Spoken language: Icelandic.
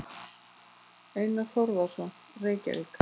Einar Þórðarson, Reykjavík.